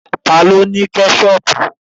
Ta ló ní Kẹ́ṣọpù?